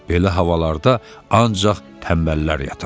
Belə havalarda ancaq tənbəllər yatar.